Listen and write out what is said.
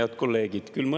Head kolleegid!